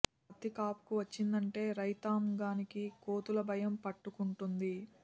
పత్తి కాపుకు వచ్చిందంటే రైతాం గానికి కోతుల భయం పట్టు కుంటుంది